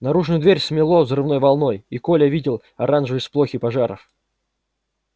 наружную дверь смело взрывной волной и коля видел оранжевые сполохи пожаров